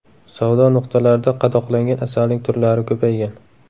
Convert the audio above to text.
Savdo nuqtalarida qadoqlangan asalning turlari ko‘paygan.